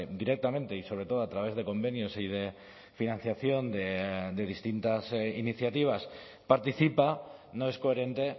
directamente y sobre todo a través de convenios y de financiación de distintas iniciativas participa no es coherente